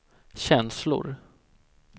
känslor